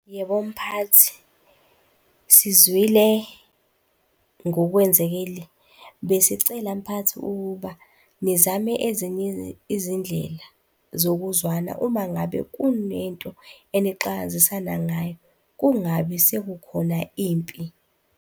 Yebo, mphathi, sizwile ngokwenzekile. Besicela mphathi ukuba nizame ezinye izindlela zokuzwana uma ngabe kunento enixakazisana ngayo, kungabi sekukhona impi.